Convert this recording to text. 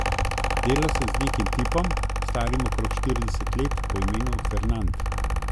Delal sem z nekim tipom, starim okrog štirideset let, po imenu Fernand.